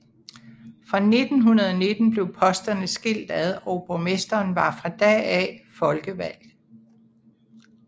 Fra 1919 blev posterne skilt ad og borgmesteren var fra da af folkevalgt